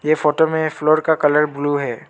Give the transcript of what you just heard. ये फोटो में फ्लोर का कलर ब्लू है।